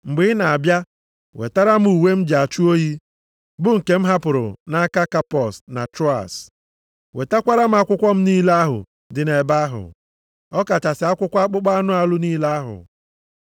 Mgbe ị na-abịa, wetara m uwe m ji achụ oyi, bụ nke m hapụrụ nʼaka Kapọs na Troas, wetakwara m akwụkwọ m niile ahụ dị nʼebe ahụ, ọkachasị akwụkwọ akpụkpọ anụ niile ahụ.